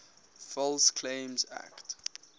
false claims act